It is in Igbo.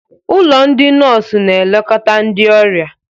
Ụlọ ndị nọọsụ na-elekọta ndị ọrịa.